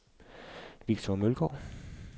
Victor Mølgaard